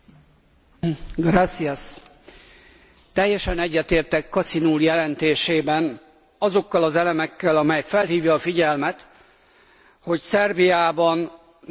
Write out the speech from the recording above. Teljesen egyetértek Kacin úr jelentésében azokkal az elemekkel, amelyekkel felhívja a figyelmet arra, hogy Szerbiában nacionalista tendenciák bontakoznak ki.